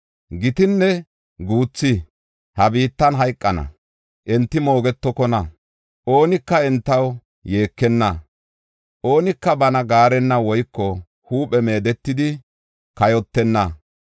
Gitinne guuthi ha biittan hayqana; enti moogetokona. Oonika entaw yeekenna; oonika bana gaarenna woyko huuphe meedetidi kayotenna.